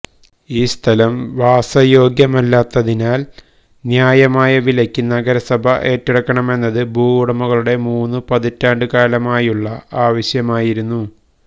ഈ സ്ഥലം വാസയോഗ്യമല്ലാത്തതിനാല് ന്യായമായ വിലക്ക് നഗരസഭ ഏറ്റെടുക്കണമെന്നത് ഭുവുടമകളുടെ മൂന്നു പതിറ്റാണ്ടുകാലമായുള്ള ആവശ്യമായിരുന്നു